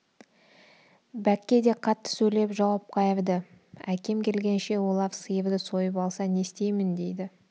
бәкке де қатты сөйлеп жауап қайырды әкем келгенше олар сиырды сойып алса не істеймін дейді